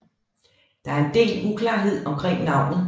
Der er en del uklarhed omkring navnet